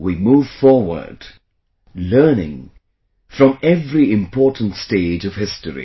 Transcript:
We move forward, learning from every important stage of history